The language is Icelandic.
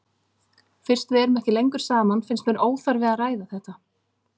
Fyrst við erum ekki lengur saman finnst mér óþarfi að ræða þetta.